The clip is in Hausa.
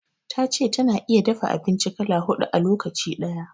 Ta ce ta na iya dafa abinci kala huɗu a lokaci ɗaya.